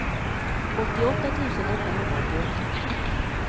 åttioåtta tusen åttahundraåttioåtta